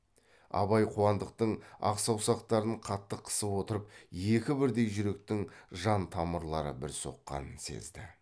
абай қуандықтың ақ саусақтарын қатты қысып отырып екі бірдей жүректің жан тамырлары бір соққанын сезді